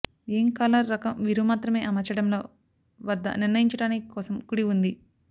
ఏం కాలర్ రకం మీరు మాత్రమే అమర్చడంలో వద్ద నిర్ణయించటానికి కోసం కుడి ఉంది